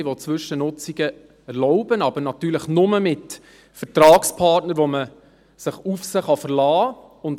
Man will Zwischennutzungen erlauben, aber natürlich nur mit Vertragspartnern, auf die man sich verlassen kann.